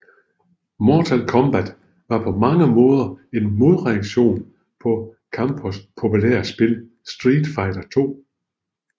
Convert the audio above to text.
Mortal Kombat var på mange måder en modreaktion på Capcoms populære spil Street Fighter II